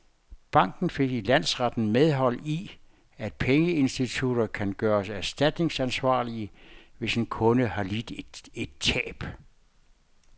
Banken fik i landsretten medhold i, at pengeinstitutter kun kan gøres erstatningsansvarlige, hvis en kunde har lidt et tab.